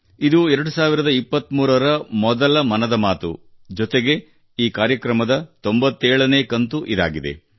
ಇದು 2023 ನೇ ಮೊದಲ ಮನದ ಮಾತು ಜೊತೆಗೆ ಈ ಕಾರ್ಯಕ್ರಮದ 97 ನೇ ಕಂತು ಇದಾಗಿದೆ